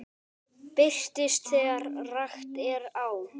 Birtist þegar rakt er á.